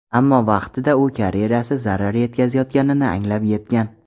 Ammo vaqtida u karyerasiga zarar yetkazayotganini anglab yetgan.